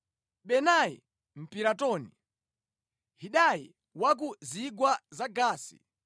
Benaya Mpiratoni, Hidayi wa ku zigwa za Gaasi.